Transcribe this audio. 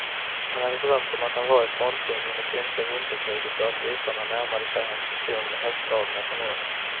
Han hade drömt om att han var i frontlinjen i finska vinterkriget och att ryssarna närmade sig hans pluton med hästdragna kanoner.